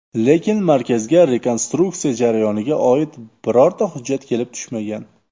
Lekin Markazga rekonstruksiya jarayoniga oid birorta hujjat kelib tushmagan.